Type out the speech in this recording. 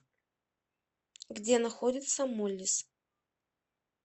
где находится моллис